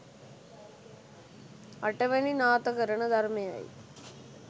අටවැනි නාථකරණ ධර්මයයි.